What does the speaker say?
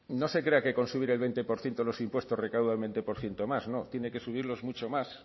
no se crea que con subir el veinte por ciento los impuestos recauda un veinte por ciento más no tiene que subirlo mucho más